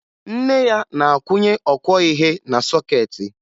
Nne ya na-akwụnye ọkwọihe na sọkeetị